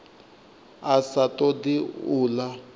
a sa todi u ḽa